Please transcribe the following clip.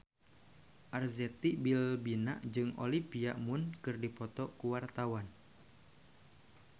Arzetti Bilbina jeung Olivia Munn keur dipoto ku wartawan